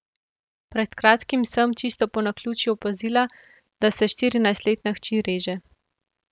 Pred kratkim sem, čisto po naključju, opazila, da se štirinajstletna hči reže.